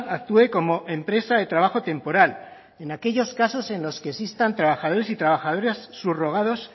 actúe como empresa de trabajo temporal en aquellos casos en los que existan trabajadores y trabajadoras subrogados